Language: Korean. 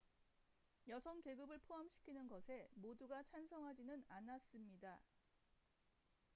여성 계급을 포함시키는 것에 모두가 찬성하지는 않았습니다